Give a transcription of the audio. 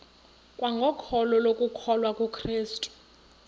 kwangokholo lokukholwa kukrestu